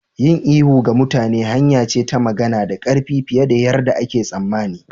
Yin ihu ga mutane hanya ce ta magana da ƙarfi fiye da yarda ake tsammani.